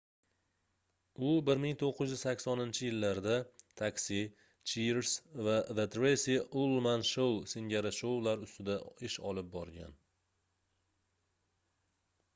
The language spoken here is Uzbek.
u 1980-yillarda taxi cheers va the tracy ullman show singari shoular ustida ish olib borgan